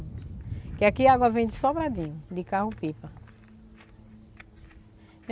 Porque aqui a água vem de sobradinho, de carro-pipa.